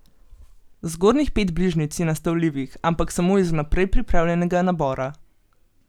Zgornjih pet bližnjic je nastavljivih, ampak samo iz vnaprej pripravljenega nabora.